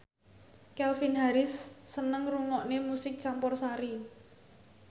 Calvin Harris seneng ngrungokne musik campursari